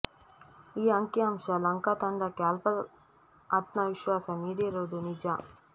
ಈ ಅಂಕಿ ಅಂಶ ಲಂಕಾ ತಂಡಕ್ಕೆ ಅಲ್ಪ ಆತ್ಮವಿಶ್ವಾಸ ನೀಡಿರುವುದು ನಿಜ